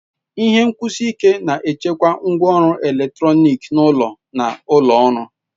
Ihe nkwụsi ike na-echekwa ngwaọrụ eletrọnịkị n'ụlọ na ụlọ ọrụ.